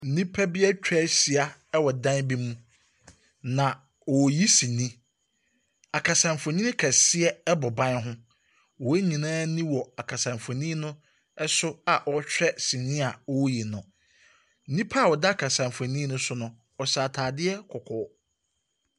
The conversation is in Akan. Nnipa bi atwa ahyia wɔ dan bi mu, na wɔreyi sini. Akasamfonin kɛseɛ bɔ ban ho. Wɔn nyinaa ani wɔ kasamfonin no so a wɔrehwɛ sini a wɔreyi no. Onipa a ɔda akasamfonin no so no, ɔhyɛ atadeɛ kɔkɔɔ.